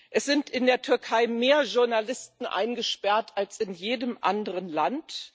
Es sind in der Türkei mehr Journalisten eingesperrt als in jedem anderen Land.